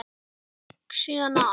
Hann gekk síðan að